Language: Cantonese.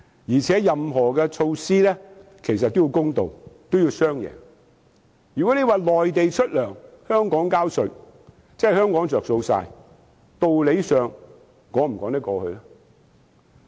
而且，任何措施也要公道和造成"雙贏"，如果內地出糧，香港收稅，只有香港受惠，道理上能否說得通？